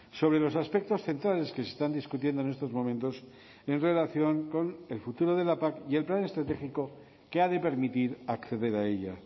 sobre los aspectos centrales que se están discutiendo en estos momentos en relación con el futuro de la pac y el plan estratégico que ha de permitir acceder a ella